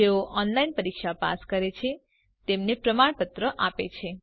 જેઓ ઓનલાઇન પરીક્ષા પાસ કરે છે તેમને પ્રમાણપત્ર આપે છે